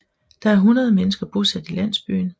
Der er ca 100 mennesker bosat i landsbyen